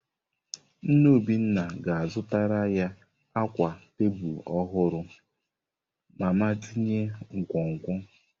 Nne Obinna ga-azụtara ya akwa tebụl ọhụrụ mama tinye nkwonkwo.